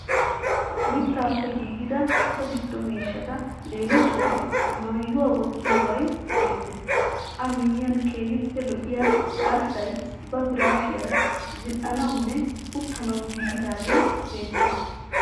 Mittaappe giigida so giddo miishshata leemisuwawu maayuwa wottiyobayi beettees. A miyyiyan keehippe lo'iya arssay ba piraashiyaara zin'anawunne uttanawu giigidaagee beettees.